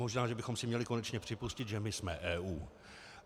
Možná že bychom si měli konečně připustit, že my jsme EU.